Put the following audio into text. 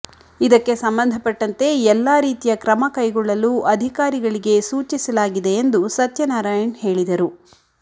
ಇದಕ್ಕೆ ಸಂಬಂಧಪಟ್ಟಂತೆ ಎಲ್ಲಾ ರೀತಿಯ ಕ್ರಮ ಕೈಗೊಳ್ಳಲು ಅಧಿಕಾರಿಗಳಿಗೆ ಸೂಚಿಸಲಾಗಿದೆ ಎಂದು ಸತ್ಯನಾರಾಯಣ್ ಹೇಳಿದರು